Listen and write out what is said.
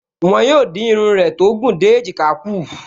Wọ́n yóò dín irun rẹ tó gùn dé èjìká kù